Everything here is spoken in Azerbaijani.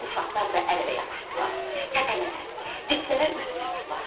Uşaqlar da əl-ələ yapışdılar, təpələrə, diklərə üz tutdular.